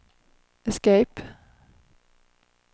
escape